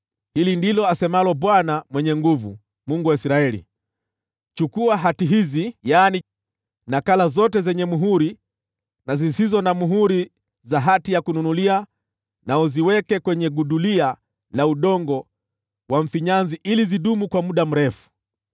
‘Hili ndilo asemalo Bwana Mwenye Nguvu Zote, Mungu wa Israeli: Chukua hati hizi, yaani nakala zote zenye muhuri na zisizo na muhuri za hati ya kununulia, na uziweke kwenye gudulia la udongo wa mfinyanzi ili zidumu kwa muda mrefu.